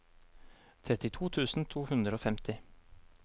trettito tusen to hundre og femti